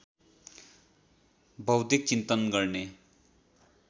बौद्धिक चिन्तन गर्ने